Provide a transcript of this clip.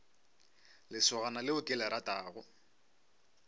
lesogana leo ke le ratago